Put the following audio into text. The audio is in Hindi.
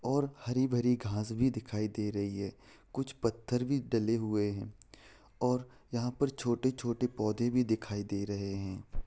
और हरी-भरी घास भी दिखाई दे रही कुछ पत्थर भी डले हुए है और यहाँ पर छोटे-छोटे पौधे भी दिखाई दे रहे है।